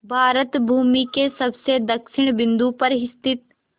भारत भूमि के सबसे दक्षिण बिंदु पर स्थित